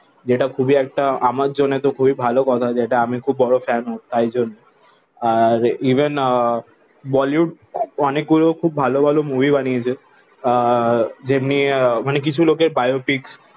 যেটা খুবই একটা আমার জন্য তো খুবই ভালো কথা যেটা আমি খুবই বড়ো ফ্যান ওর তাই জন্য আর ইভেন আহ বলিউড অনেক গুলো খুব ভালো ভালো মুভি বানিয়েছে আহ যেমনি কিছু লোকের বায়ো পিক